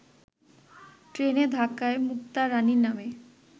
ট্রেনের ধাক্কায় মুক্তা রাণী নামে